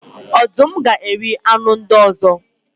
Ọdụm ga eri anụ ndị ọzọ.